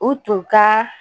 U tun ka